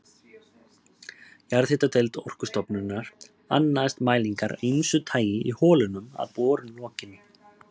Jarðhitadeild Orkustofnunar annaðist mælingar af ýmsu tagi í holunum að borun lokinni.